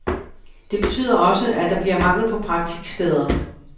Det betyder også, at der bliver mangel på praktiksteder.